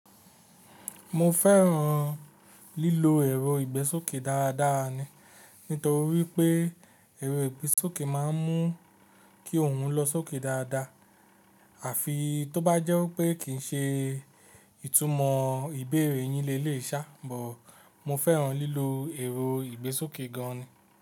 Mo fẹ́ràn lílo ẹ̀rọ ìgbésókè dáadáa ni, nítorí pé ẹ̀rọ ìgbésókè máa ń mú kí òun lọ sókè dáadáa, àfi tó bá jẹ́ pé kì í ṣe ìtumọ̀ ìbéèrè yín lé lé sá, bọ̀ mo fẹ́ràn lílo ẹ̀rọ ìgbésókè gan ni.